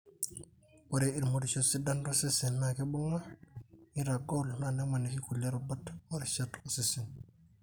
ore ilmoirioshi sidan losesen na kibunga; nitagol, na nemaniki kulie rubat ,orishat osesen